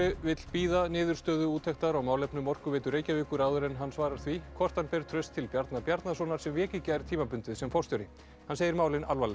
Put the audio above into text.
vill bíða niðurstöðu úttektar á málefnum Orkuveitu Reykjavíkur áður en hann svarar því hvort hann ber traust til Bjarna Bjarnasonar sem vék í gær tímabundið sem forstjóri hann segir málin alvarleg